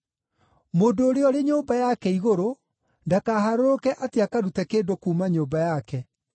Mũndũ ũrĩa ũrĩ nyũmba yake igũrũ ndakaharũrũke atĩ akarute kĩndũ kuuma nyũmba yake.